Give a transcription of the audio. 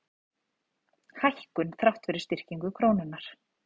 Hækkun þrátt fyrir styrkingu krónunnar